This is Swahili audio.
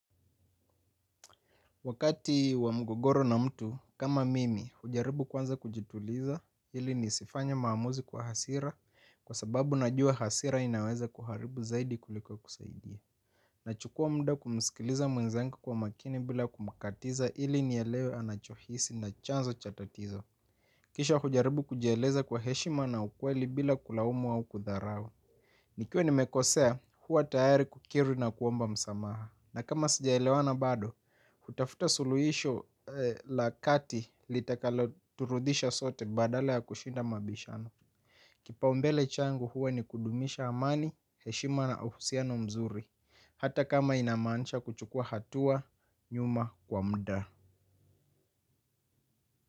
Wakati wa mgogoro na mtu, kama mimi, hujaribu kwanza kujituliza, ili nisifanye maamuzi kwa hasira, kwa sababu najua hasira inaweza kuharibu zaidi kuliko kusaidia. Nachukua muda kumisikiliza mwenzengu kwa makini bila kumakatiza ili nielewe anachohisi na chanzo cha tatizo. Kisha hujaribu kujieleza kwa heshima na ukweli bila kulaumu au kudharau. Nikiwa nimekosea, huwa tayari kukiri na kuomba msamaha. Na kama sijaelewana bado, hutafuta suluhisho la kati litakaloturudisha sote badale ya kushinda mabishano. Kipaombele changu huwa ni kudumisha amani, heshima na uhusiano mzuri. Hata kama inamanisha kuchukua hatua nyuma kwa muda.